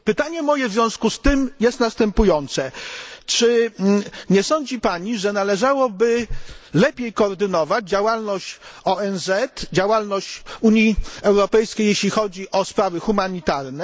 Pytanie moje w związku z tym jest następujące czy nie sądzi Pani, że należałoby lepiej koordynować działalność ONZ i Unii Europejskiej, jeśli chodzi o sprawy humanitarne?